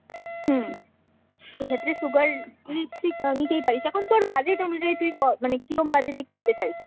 হম। সেক্ষেত্রে Sugar lipstick নিতেই পারিস। এখন তোর budget অনুযায়ী তুই ক মানে কিরোম বাজেট এ কিনতে চাইছিস।